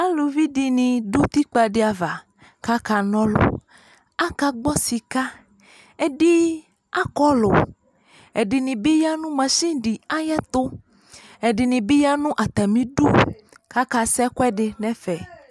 Aaluvi ɖini ɖʋ utikpadiava kaka nuɔlɔ, aka gbɔ sika, ɛɖini akɔlʋ, ɛɖinibi yaa nʋ masini ayɛtʋ, ɛɖinbi ya n'atami iɖʋ kaka sɛɣɛ nɛfɛ